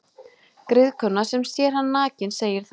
Griðkona sem sér hann nakinn segir þá: